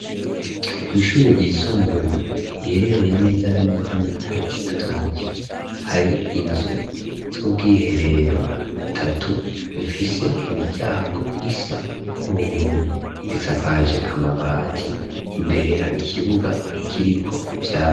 Kw'ishure ryisumbuye iherereye neza na neza mu ntara ya Cibitoke hari inzu z'ubw'iherero butatu bufise imiryango isa n'ubururi risakaje amabati imbere hari ikibuga kiriko ivyatsi.